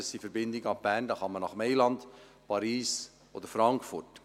Das sind Verbindungen ab Bern nach Mailand, Paris oder Frankfurt.